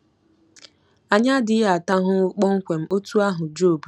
Anyị adịghị ata ahụhụ kpọmkwem otú ahụ Job tara.